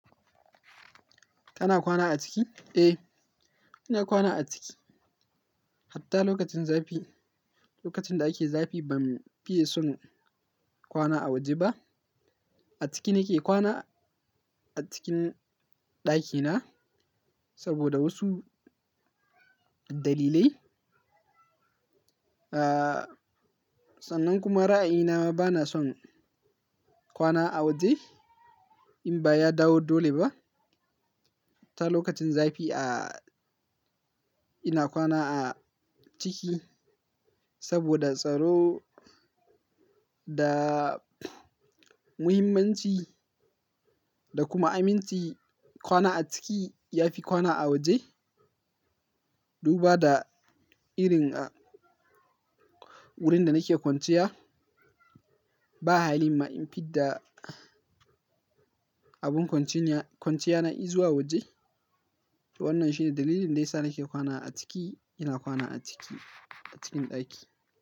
Kana kwana a ciki? Eh, ina kwana a ciki. Hatta lokacin zafi, lokacin da ake zafi ban fiye son kwana a waje ba. A ciki nake kwana, a cikin ɗakina saboda wasu dalilai. Sannan kuma ra'ayina ba na son kwana a waje in ba ya dawo dole ba. Lokacin zafi, ina kwana a ciki saboda tsaro da muhimmanci da kuma aminci. Kwana a ciki ya fi kwana a waje. Duba da irin wurin da nake kwanciya ba hali ma in fidda abun kwanciyana izuwa waje. To wannan shine dalilin ne yasa nake kwana a ciki. Ina kwana a ciki, a cikin ɗaki.